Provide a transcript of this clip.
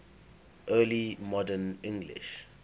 early modern english